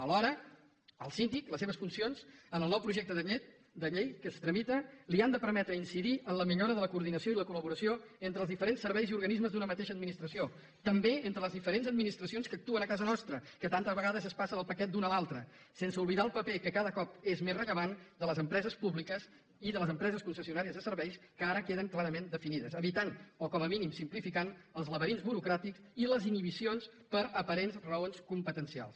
alhora al síndic les seves funcions en el nou projecte de llei que es tramita li han de permetre incidir en la millora de la coordinació i la col·laboració entre els diferents serveis i organismes d’una mateixa administració també entre les diferents administracions que actuen a casa nostra que tantes vegades es passen el paquet d’una a l’altra sense oblidar el paper que cada cop és més rellevant de les empreses públiques i de les empreses concessionàries de serveis que ara queden clarament definides i evitar o com a mínim simplificar els laberints burocràtics i les inhibicions per aparents raons competencials